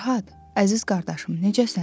Fərhad, əziz qardaşım, necəsən?